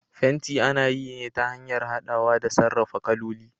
fenti ana yi ne ta hanyar hadawa da sarrafa kaloli.